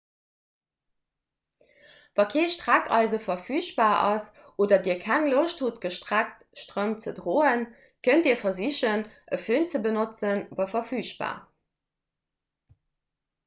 wa kee streckeise verfügbar ass oder dir keng loscht hutt gestreckt strëmp ze droen kënnt dir versichen e fön ze benotzen wa verfügbar